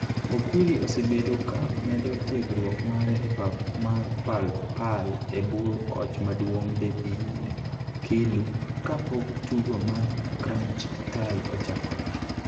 Okwiri osebedo ka medo tiegruok mare e pap mar Pal Pal e bwo koch maduong' David Kiilu ka pok tugo mar crunch tie ochakore.